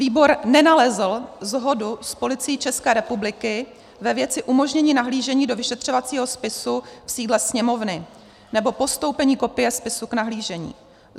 Výbor nenalezl shodu s Policií České republiky ve věci umožnění nahlížení do vyšetřovacího spisu v sídle Sněmovny nebo postoupení kopie spisu k nahlížení.